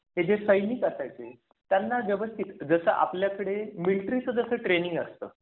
त्याचे सैनिक असायचे. त्यांना व्यवस्थित जसं आपल्याकडे मिलिटरीचं ट्रेनिंग असतं.